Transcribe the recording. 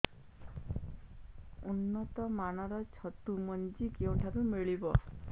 ଉନ୍ନତ ମାନର ଛତୁ ମଞ୍ଜି କେଉଁ ଠାରୁ ମିଳିବ